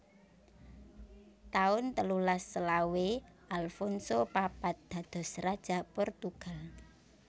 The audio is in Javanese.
taun telulas selawe Alfonso papat dados Raja Portugal